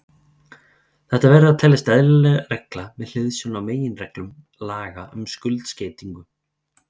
Þetta verður að teljast eðlileg regla með hliðsjón af meginreglum laga um skuldskeytingu.